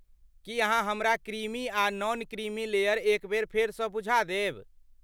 की अहाँ हमरा क्रीमी आ नॉन क्रीमी लेयर एक बेर फेरसँ बुझा देब?